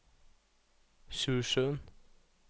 Sjusjøen